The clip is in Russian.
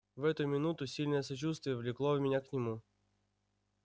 в эту минуту сильное сочувствие влекло меня к нему